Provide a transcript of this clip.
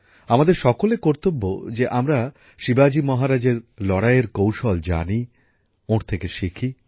আমাদের সকলের কর্তব্য যে আমরা শিবাজি মহারাজের লড়াইয়ের কৌশল জানি ওঁর থেকে শিখি